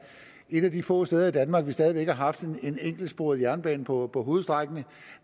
et af de få steder i danmark hvor vi stadig væk har haft en enkeltsporet jernbane på på hovedstrækningen